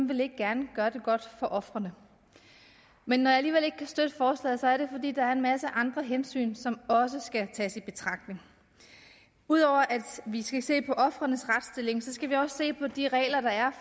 vil ikke gerne gøre det godt for ofrene men når jeg alligevel ikke kan støtte forslaget er det fordi der er en masse andre hensyn som også skal tages i betragtning ud over at vi skal se på ofrenes retsstilling skal vi også se på de regler der er